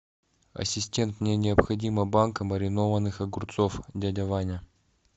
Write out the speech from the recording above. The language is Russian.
ассистент мне необходима банка маринованных огурцов дядя ваня